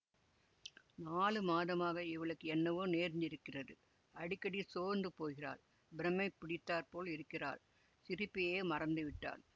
நாலுமாதமாக இவளுக்கு என்னவோ நேர்ந்திருக்கிறது அடிக்கடி சோர்ந்து போகிறாள் பிரமை பிடித்தாற்போல் இருக்கிறாள் சிரிப்பையே மறந்து விட்டாள்